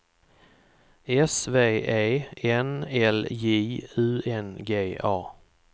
S V E N L J U N G A